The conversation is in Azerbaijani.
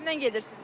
Kimlə gedirsiz?